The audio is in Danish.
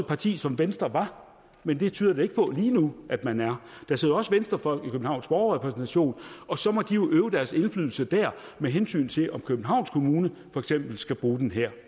parti som venstre var men det tyder det ikke på lige nu at man er der sidder også venstrefolk i københavns borgerrepræsentation og så må de udøve deres indflydelse der med hensyn til om københavns kommune for eksempel skal bruge den her